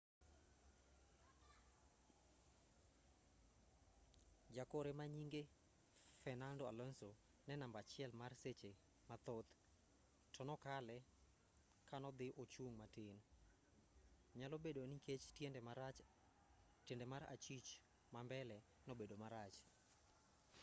jakore manyinge fernando alonso ne namba achiel mar seche mathoth to nokale kanodhi ochung' matin nyalobedo nikech tiende mar achich mambele nobedo marach